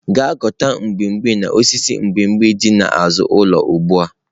Gaa ghọta mgbimhbi n'osisi mgbimgbi dị n'azụ ụlọ ugbu a!